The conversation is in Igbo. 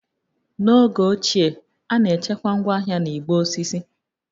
N'oge ochie, a na-echekwa ngwaahịa na igbe osisi